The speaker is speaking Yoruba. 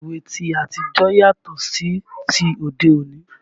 Ilé ìwẹ̀ ti àtijọ́ yàtọ̀ sí ti òde òní